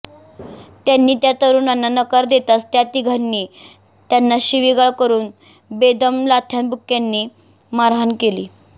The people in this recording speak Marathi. त्यांनी त्या तरुणांना नकार देताच त्या तिघांनी त्यांना शिवीगाळ करुन बेदम लाथ्याबुक्यांनी मारहाण केली